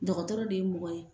Dɔgɔtɔrɔ de ye mɔgɔ ye.